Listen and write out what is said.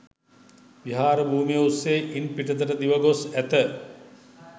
විහාර භූමිය ඔස්‌සේ ඉන් පිටතට දිව ගොස්‌ ඇත.